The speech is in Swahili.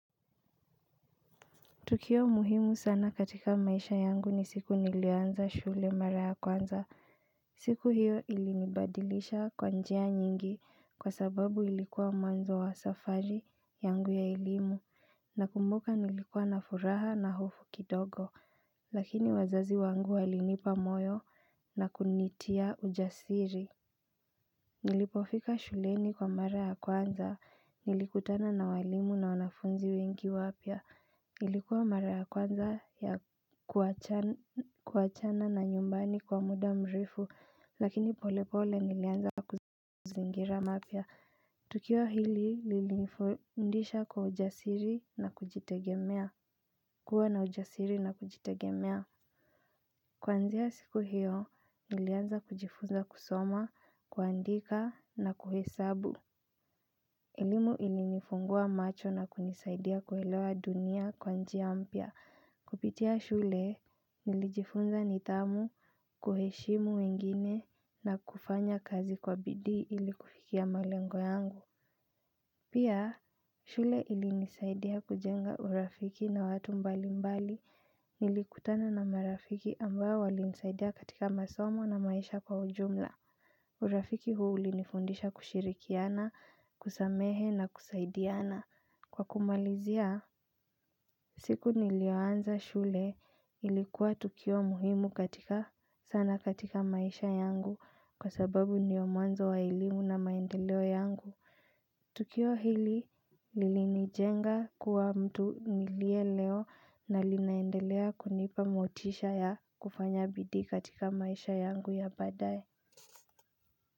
Tukio muhimu sana katika maisha yangu ni siku nilianza shule mara ya kwanza. Siku hiyo ilinibadilisha kwa njia nyingi kwa sababu ilikuwa mwanzo wa safari yangu ya elimu nakumbuka nilikuwa na furaha na hofu kidogo lakini wazazi wangu walinipa moyo na kunitia ujasiri. Nilipofika shuleni kwa mara ya kwanza. Nilikutana na walimu na wanafunzi wengi wapya. Ilikuwa mara ya kwanza ya kuachana na nyumbani kwa muda mrefu lakini pole pole nilianza kuzingira mapya. Tukio hili lilifundisha kwa ujasiri na kujitegemea. Kuwa na ujasiri na kujitegemea Kuanzia siku hiyo, nilianza kujifunza kusoma, kuandika na kuhesabu. Elimu ilinifungua macho na kunisaidia kuelewa dunia kwa njia mpya. Kupitia shule, nilijifunza nidhamu, kuheshimu wengine na kufanya kazi kwa bidii ili kufikia malengo yangu. Pia, shule ilinisaidia kujenga urafiki na watu mbali mbali nilikutana na marafiki ambao walinisaidia katika masomo na maisha kwa ujumla. Urafiki huu ulinifundisha kushirikiana, kusamehe na kusaidiana. Kwa kumalizia, siku niliyoanza shule ilikuwa tukio muhimu katika sana katika maisha yangu kwa sababu ndio mwanzo wa elimu na maendeleo yangu. Tukio hili lilinijenga kuwa mtu nilie leo na linaendelea kunipa motisha ya kufanya bidi katika maisha yangu ya baadaye.